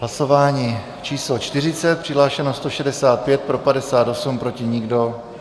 Hlasování číslo 40, přihlášeno 165, pro 58, proti nikdo.